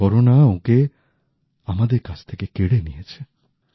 corona ওঁকে আমাদের কাছ থেকে কেড়ে নিয়েছে